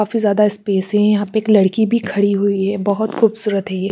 काफी ज्यादा स्पेस है यहाँ पे एक लड़की भी खड़ी हुई है बहुत खूबसूरत है ये।